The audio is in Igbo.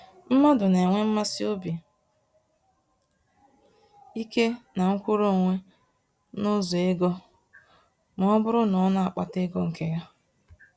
Mmadụ nenwe mmasị obi ike na mkwụrụ-onwe nụzọ ego, mọbụrụ na ọ n'akpata ego nke ya.